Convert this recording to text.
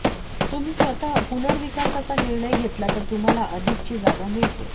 तुम्ही स्वतः पुनर्विकासाचा निर्णय घेतला तर तुम्हाला अधिकची जागा मिळते